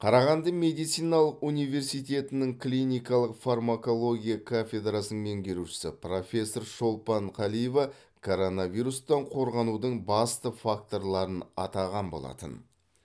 қарағанды медициналық университетінің клиникалық фармакология кафедрасының меңгерушісі профессор шолпан қалиева коронавирустан қорғанудың басты факторларын атаған болатын